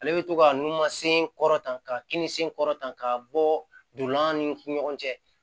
Ale bɛ to ka nu masen kɔrɔta ka kin sen kɔrɔta k'a bɔ don an ni ɲɔgɔn cɛ